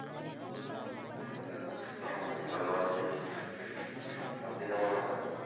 ওয়ালাইকুম সালাম। আমি ভালো আছি। আপনি কেমন আছেন?